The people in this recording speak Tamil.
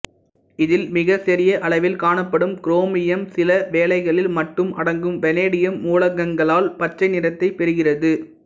இதில் மிகச்சிறிய அளவில் காணப்படும் குரோமியம் சிலவேளைகளில் மட்டும் அடங்கும் வனேடியம் மூலகங்களால் பச்சை நிறத்தைப் பெறுகிறது